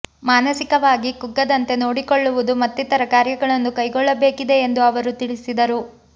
ಮಾನಸಿಕವಾಗಿ ಕುಗ್ಗದಂತೆ ನೋಡಿಕೊಳ್ಳುವುದು ಮತ್ತಿತರ ಕಾರ್ಯಗಳನ್ನು ಕೈಗೊಳ್ಳಬೇಕಿದೆ ಎಂದು ಅವರು ತಿಳಿಸಿದರು